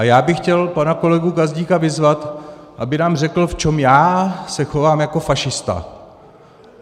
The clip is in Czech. A já bych chtěl pana kolegu Gazdíka vyzvat, aby nám řekl, v čem já se chovám jako fašista.